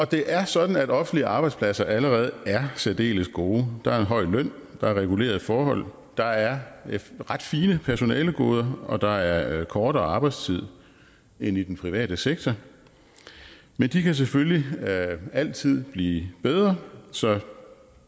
det er sådan at offentlige arbejdspladser allerede er særdeles gode der er en høj løn der er regulerede forhold der er ret fine personalegoder og der er kortere arbejdstid end i den private sektor men de kan selvfølgelig altid blive bedre så